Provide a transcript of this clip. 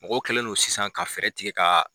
Mɔgɔw kɛlen don sisan ka fɛɛrɛ tigɛ ka